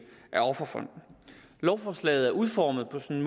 af offerfonden lovforslaget er udformet på en